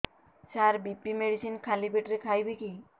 ସାର BP medicine ଖାଲି ପେଟରେ ଖାଇବି କି